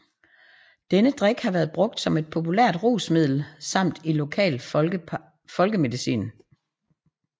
Denne drik har været brugt som et populært rusmiddel samt i lokal folkemedicin